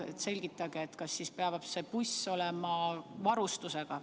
Selgitage, kas see buss peab olema sellise varustusega.